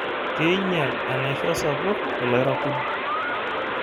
Keinyal enaisho sapuk ilairakuj.